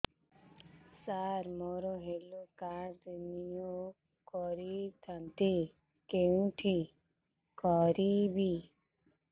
ସାର ମୋର health card renew କରିଥାନ୍ତି କେଉଁଠି କରିବି